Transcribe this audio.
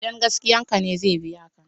Idan gaskiyan ka ne zan biya ka.